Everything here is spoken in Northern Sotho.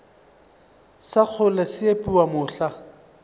sa kgole se epiwa mohla